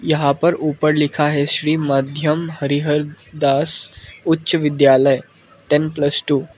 यहां पर ऊपर लिखा है Shri Madhyam Harihar Das Uchcha Vidyalaya ten plus two.